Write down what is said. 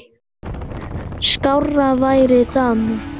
Skárra væri það nú!